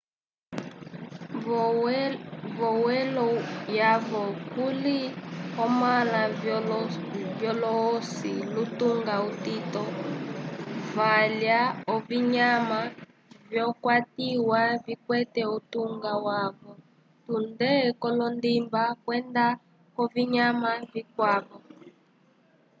v'omwelo yavo kuli omãla vyolohosi lutunga utito valya ovinyama vyakwatiwa vikwete utunga wavo tunde k'olondimba kwenda k'ovinyama vikwavo